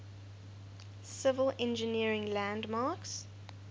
civil engineering landmarks